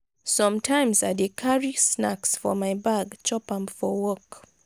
sometimes i dey carry snacks for my bag chop am for work.